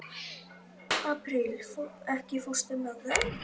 Apríl, ekki fórstu með þeim?